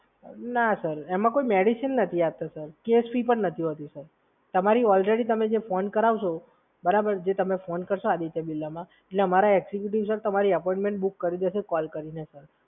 ના સર, એમાં કોઈ મેડિસિન નથી આપતા સર, કેસ ફી પણ નથી હોતી સર. તમારી ઓલરેડી તમે જે ફોન કરાવશો, તમે જે ફોન કરશો આદિત્ય બિરલામાં, અમારા એકજયુકેટીવ ઓફિસર તમારી અપોઇન્ટમેન્ટ બુક કરી દેશે કોલ કરીને સર.